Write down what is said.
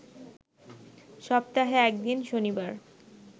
সপ্তাহে এক দিন, শনিবার